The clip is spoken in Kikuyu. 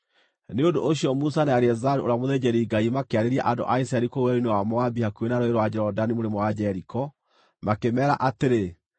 Nĩ ũndũ ũcio, Musa na Eleazaru ũrĩa mũthĩnjĩri-Ngai makĩarĩria andũ a Isiraeli kũu werũ-inĩ wa Moabi hakuhĩ na Rũũĩ rwa Jorodani mũrĩmo wa Jeriko, makĩmeera atĩrĩ,